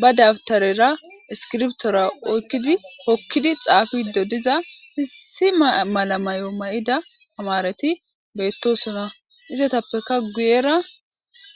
ba dabtarera iskirbtora oykkidi hokkidi xaafiiddo diza hissi malamayo mayida tamareti beettosona izetappeka guyera